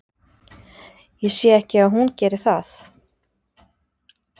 Ég sé ekki að hún geri það.